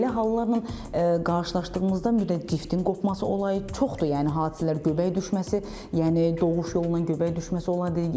Belə hallarla qarşılaşdığımızda, yəni ciftin qopması olayı çoxdur yəni hadisələr göbək düşməsi, yəni doğuş yolundan göbək düşməsi olayı.